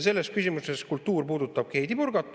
Selles küsimuses kultuur puudutabki Heidy Purgat.